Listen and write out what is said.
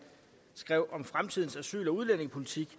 skrev om fremtidens asyl og udlændingepolitik